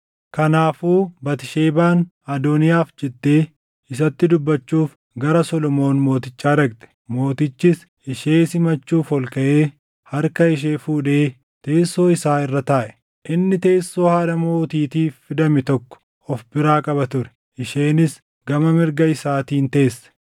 Kanaafuu Batisheebaan Adooniyaaf jettee isatti dubbachuuf gara Solomoon Mootichaa dhaqxe; Mootichis ishee simachuuf ol kaʼee harka ishee fuudhee teessoo isaa irra taaʼe. Inni teessoo haadha mootiitiif fidame tokko of biraa qaba ture; isheenis gama mirga isaatiin teesse.